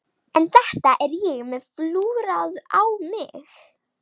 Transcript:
En þetta er ég með flúrað á mig.